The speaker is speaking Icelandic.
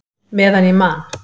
Meðan ég man!